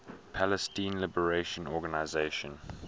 palestine liberation organization